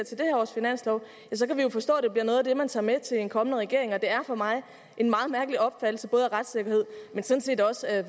års finanslov kan vi jo forstå det bliver noget af det man tager med til en kommende regering og det er for mig en meget mærkelig opfattelse både af retssikkerhed men sådan set også af